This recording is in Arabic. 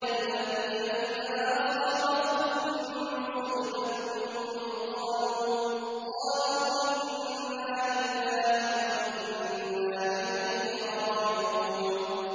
الَّذِينَ إِذَا أَصَابَتْهُم مُّصِيبَةٌ قَالُوا إِنَّا لِلَّهِ وَإِنَّا إِلَيْهِ رَاجِعُونَ